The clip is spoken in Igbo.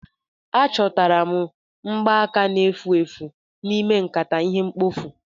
Achọtara m mgbaaka na-efu efu n'ime nkata ihe mkpofu